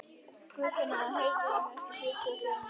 Guðfinna, heyrðu í mér eftir sjötíu og fjórar mínútur.